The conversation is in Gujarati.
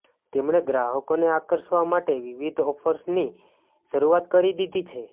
તેમણે ગ્રાહકોને આકર્ષવા માટે વિવિધ ઑફર્સની શરૂઆત કરી દીધી છે